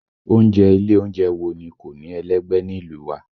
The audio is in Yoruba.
Oúnjẹ ilé oúnjẹ wo ni kò ní ẹlẹ́gbẹ́ nílùú wa?